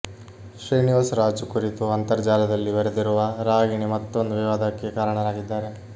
ಶ್ರೀನಿವಾಸ್ ರಾಜು ಕುರಿತು ಅಂತರ್ಜಾಲದಲ್ಲಿ ಬರೆದಿರುವ ರಾಗಿಣಿ ಮತ್ತೊಂದು ವಿವಾದಕ್ಕೆ ಕಾರಣರಾಗಿದ್ದಾರೆ